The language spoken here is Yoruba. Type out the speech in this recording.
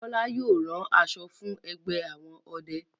Bola yóò ràn aṣọ fún ẹgbẹ àwọn ọdẹ.